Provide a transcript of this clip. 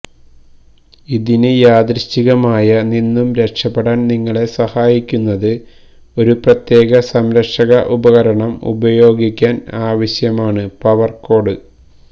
ഇതിന് യാദൃച്ഛികമായ നിന്നും രക്ഷപ്പെടാൻ നിങ്ങളെ സഹായിക്കുന്നത് ഒരു പ്രത്യേക സംരക്ഷക ഉപകരണം ഉപയോഗിക്കാൻ ആവശ്യമാണ് പവർ കോഡ്